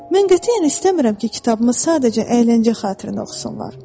Mən qətiyyən istəmirəm ki, kitabımı sadəcə əyləncə xatirinə oxusunlar.